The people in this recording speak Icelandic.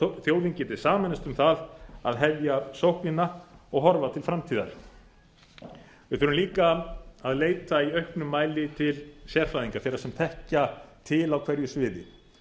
þjóðin geti sameinast um það að hefja sóknina og horfa til framtíðar við þurfum líka að leita í auknum mæli til sérfræðinga þeirra sem þekkja til á hverju sviði